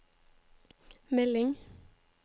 melding